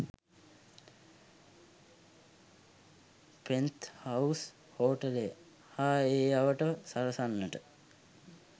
'penthouse හෝටලය' හා ඒ අවට සරසන්නට